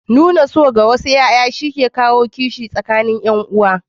Nuna so ga wasu ƴaƴa shi ke kawo kishi tsakanin ƴan'uwa.